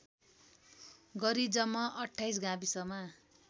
गरी जम्मा २८ गाविसमा